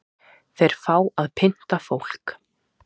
Þeir fá að pynta fólk